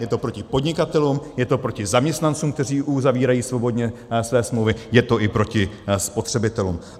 Je to proti podnikatelům, je to proti zaměstnancům, kteří uzavírají svobodně své smlouvy, je to i proti spotřebitelům.